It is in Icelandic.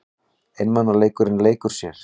Einmanaleikinn leikur sér.